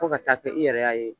Fo ka taa kɛ i yɛrɛ ya ye.